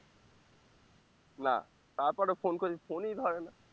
না তারপরে phone করছি phone ই ধরে না